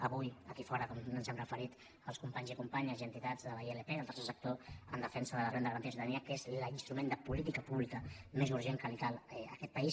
avui hi ha aquí fora com ens hi hem referit els companys i companyes i entitats de la ilp del tercer sector en defensa de la renda garantida de ciutadania que és l’instrument de política pública més urgent que li cal a aquest país